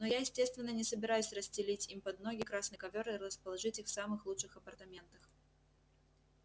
но я естественно не собираюсь расстелить им под ноги красный ковёр и расположить их в самых лучших апартаментах